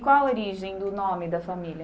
E qual a origem do nome da família?